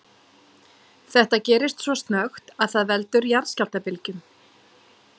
Þetta gerist svo snöggt að það veldur jarðskjálftabylgjum.